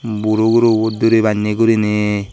buro gurubo duri banne gurine.